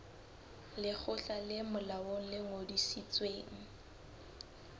lekgotla le molaong le ngodisitsweng